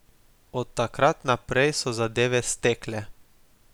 Od takrat naprej so zadeve stekle.